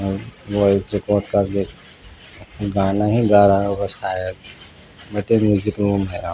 वैसे तो सभी गाना ही गा रहा होगा शायद ये तो म्यूजिकल रूम है।